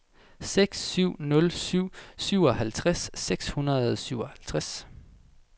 seks syv nul syv syvoghalvtreds seks hundrede og syvoghalvtreds